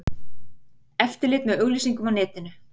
Eftirlit með auglýsingum á netinu